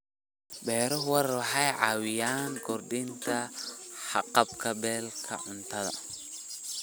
Beeraha waara waxay caawiyaan kordhinta haqab-beelka cuntada.